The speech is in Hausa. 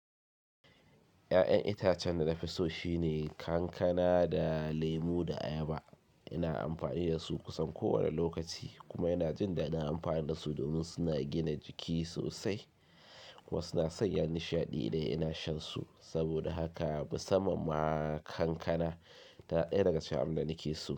Ya'yan itacen da na fi so shine kankana da lemo da ayaba. Ina amfani da su kusan kowane lokaci kuma yana jin da ina amfani da su domin suna gina jiki sosai kuma suna sanya nishaɗi da ina shan su. Saboda haka musamman ma kankana tana ɗaya daga cikin abin da nake so.